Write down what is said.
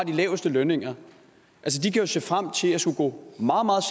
laveste lønninger jo kan se frem til at skulle gå meget meget